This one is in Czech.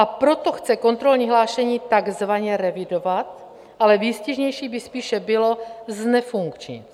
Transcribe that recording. A proto chce kontrolní hlášení takzvaně revidovat, ale výstižnější by spíše bylo znefunkčnit.